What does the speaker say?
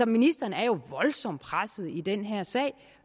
ministeren er jo voldsomt presset i den her sag